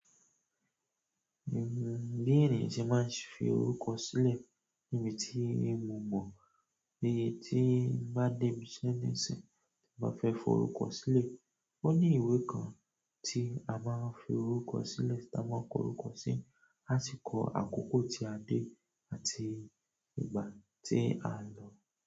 Bí ènìyàn ṣe máa ń fi orúkọ sílẹ̀ níbi tí ì mọ̀ mọ̀, bí tí ń bá dé ibi iṣẹ́ nísìnyí, tí n bá fẹ́ forúkọ sílẹ̀, ó ní ìwé kan tí a máa ń fi orúkọ sílẹ̀ tí a máa ń kọ orúkọ sí, àsi kọ àkókò tí a dé àti ìgbà tí a lọ.